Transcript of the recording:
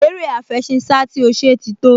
Eré àfẹṣinsá tí ó ṣe ti tó